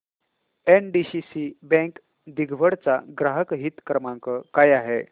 NDCC bank दिघवड चा ग्राहक हित क्रमांक काय आहे